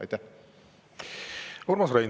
Urmas Reinsalu, palun!